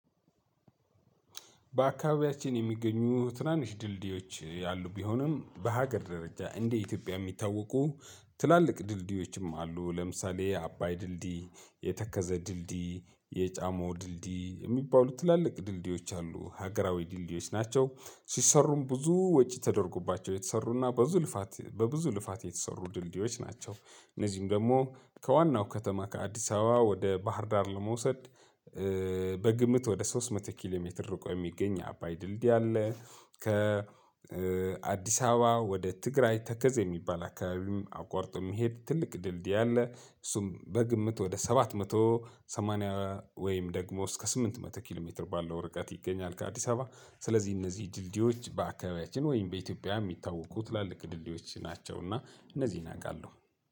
በአካባቢያችን የሚገኙ ትናንሽ ድልድዮች ያሉ ቢሆንም በሀገር ደረጃ እንደ ኢትዮጵያ የሚታወቁ ትላልቅ ድልድዮችም አሉ ለምሳሌ አባይ ድልድይ የተከዜ ድልድይ የጫሞ ድልድይ የሚባሉ ትላልቅ ድልድዮች አሉ። ሀገራዊ ድልድዮች ናቸው ሲሰሩም ብዙ ወጪ ተደርጎባቸው የተሰሩና በብዙ ልፋት በብዙ ልፋት የተሰሩ ድልድዮች ናቸው። እነዚህም ደግሞ ከዋናው ከተማ ከአዲስ አበባ ወደ ባህር ዳር ለመውሰድ በግምት ወደ ሶስት መቶ ኪሎ ሜትር ርቆ የሚገኝ አባይ ድልድይ አለ። ከአዲስ አበባ ወደ ትግራይ ተከዜ የሚባል አከባቢም አቋርጦ የሚሄድ ትልቅ ድልድይ አለ። እሱም በግምት ወደ ሰባት መቶ ሰማንያ ወይም ደግሞ እስከ ስምንት መቶ ኪሎ ሜትር ባለው ርቀት ይገኛል። ከአዲስ አበባ ስለዚህ እነዚህ ድልድዮች በአካባቢያችን ወይም በኢትዮጵያ የሚታወቁ ትላልቅ ድልድዮች ናቸውና እነዚህን አውቃለሁ